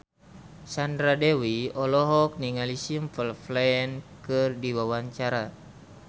Sandra Dewi olohok ningali Simple Plan keur diwawancara